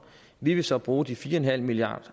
vi vil så bruge de fire milliard